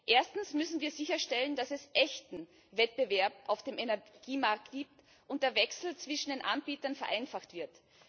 Erstens müssen wir sicherstellen, dass es echten Wettbewerb auf dem Energiemarkt gibt und der Wechsel zwischen den Anbietern vereinfacht wird.